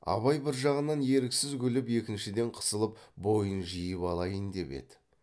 абай бір жағынан еріксіз күліп екіншіден қысылып бойын жиып алайын деп еді